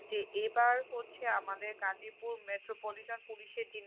যে এবার হচ্ছে আমাদের গাজীপুর metro politan পুলিশের যে